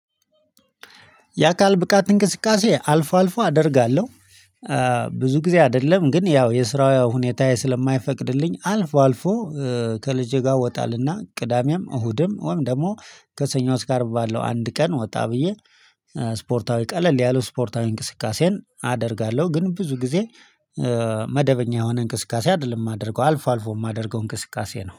የአካል ብቃት እንቅስቃሴ አልፎ አልፎ አደርጋለሁ። ብዙ ጊዜ አይደለም ግን ያው የስራው ሁኔታዬ ስለማይፈቅድልኝ አልፎ አልፎ ከልጄ ጋር ወጣልና ቅዳሜም እሁድም ወይም ደግሞ ከሰኞ እስከ አርብ ባለው አንድ ቀን ወጣ ብዬ። ስፖርታዊ ቀለል ያለው ስፖርታዊ እንቅስቃሴን አደርጋለሁ ግን ብዙ ጊዜ መደበኛ የሆነ እንቅስቃሴ አይደለም የማደርገው አልፎ አልፎ የማደርገው እንቅስቃሴ ነው